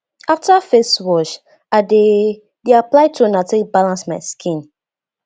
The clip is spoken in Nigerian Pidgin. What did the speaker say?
after face wash i dey dey apply toner take balance my skin